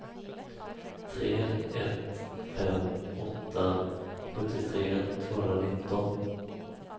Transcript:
tre ett fem åtta sjuttiotre tvåhundranitton